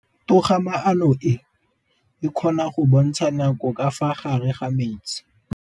Toga-maanô e, e kgona go bontsha nakô ka fa gare ga metsi.